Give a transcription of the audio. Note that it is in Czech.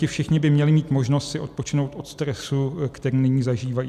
Ti všichni by měli mít možnost si odpočinout od stresu, který nyní zažívají.